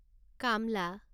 কামলা